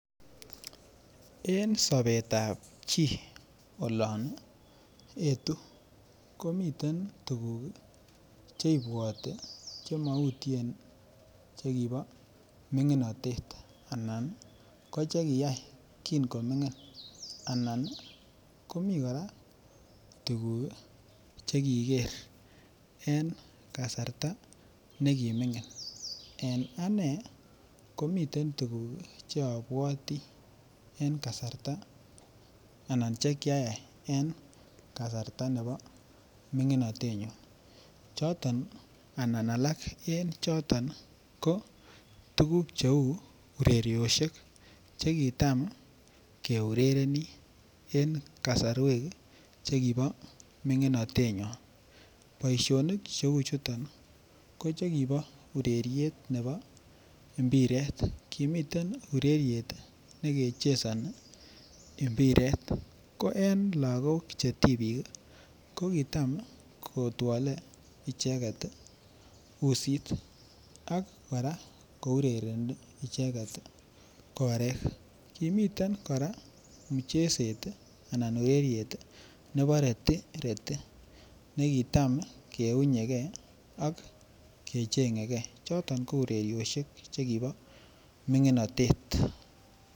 en sobet ab chi olon etu komiten tuguuk iih cheibwoti chemoutyeen chegibo minginoteet anan koche kiyaai kiin komingiin, anan komii koraa tuguk chegigeer en kasarta negimingin, en anee komiten tuguk cheobwotii anan ko chekyayai en kasarta nebo minginotet nyuun, choton anan alaak en choton ko tuguk cheuu ureryosyeek chegitaam keurerenii en kasarweek chegibo minginoteet nyoon, boishonik cheuu chuton ko chegibo ureryeet nebo mpireet, kimiten ureryeet negechesoni mpireet, ko en lagook chetibiik iih kogitaam kotwole icheget iih usiit ak koraa kourereni icheget iih koreek, kimiten koraa mchezeet anan ureryeet nebo retireti negitam keunyegee ak kechengegee choton ko ureryosyeek chegibo minginotet.